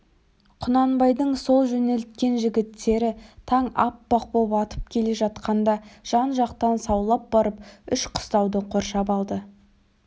құнанбайдың сол жөнелткен жігіттері таң аппақ боп атып келе жатқанда жан-жақтан саулап барып үш қыстауды қоршап алды